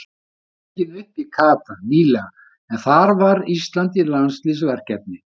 Þátturinn var tekinn upp í Katar nýlega en þar var Ísland í landsliðsverkefni.